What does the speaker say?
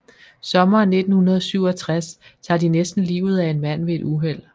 Sommeren 1967 tager de næsten livet af en mand ved et uheld